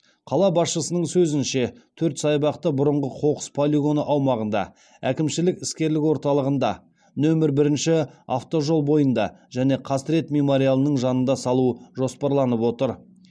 қала басшысының сөзінше төрт саябақты бұрынғы қоқыс полигоны аумағында әкімшілік іскерлік орталығында нөмір бірінші автожол бойында және қасірет мемориалының жанында салу жоспарланып отыр